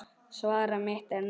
Svar mitt er nei.